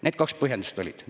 Need kaks põhjendust olid.